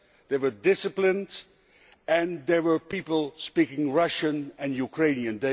They were disciplined and there were people speaking Russian and Ukrainian.